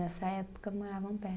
Nessa época moravam